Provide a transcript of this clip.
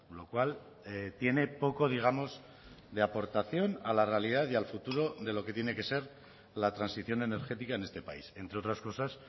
lo cual tiene poco digamos de aportación a la realidad y al futuro de lo que tiene que ser la transición energética en este país entre otras cosas